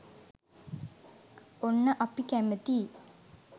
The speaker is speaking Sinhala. ඔන්න අපි කැමතියි